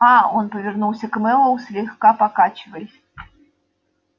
аа он повернулся к мэллоу слегка покачиваясь